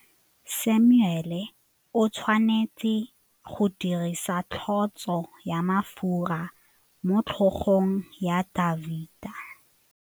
Samuele o tshwanetse go dirisa tlotsô ya mafura motlhôgong ya Dafita.